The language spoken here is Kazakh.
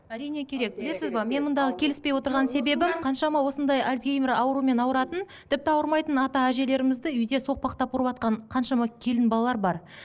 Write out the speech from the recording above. әрине керек білесіз бе мен мындағы келіспей отырған себебім қаншама осындай альцгеймер аурумен ауыратын тіпті ауырмайтын ата әжелерімізді үйде соқпақтап ұрыватқан қаншама келін балалар бар